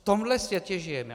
V tomhle světě žijeme.